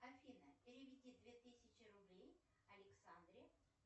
афина переведи две тысячи рублей александре